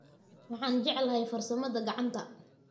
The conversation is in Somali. waxaan jeclahay farsamada gacanta.